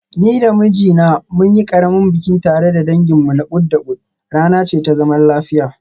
Ni da mijina mun yi ƙaramin biki tare da danginmu na kud da kud, rana ce ta zaman lafiya.